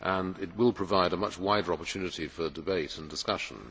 It will provide a much wider opportunity for debate and discussion.